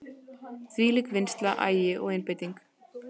Þvílík vinnsla, agi og einbeiting.